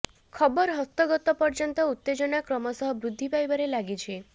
ଖବର ହସ୍ତଗତ ପର୍ଯ୍ୟନ୍ତ ଉତ୍ତେଜନା କ୍ରମଶଃ ବୃଦ୍ଧି ପାଇବାରେ ଲାଗିଛି